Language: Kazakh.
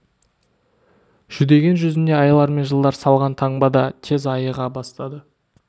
жүдеген жүзіне айлар мен жылдар салған таңба да тез айыға бастады